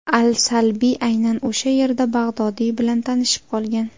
Al-Salbiy aynan o‘sha yerda Bag‘dodiy bilan tanishib qolgan.